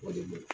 O de ye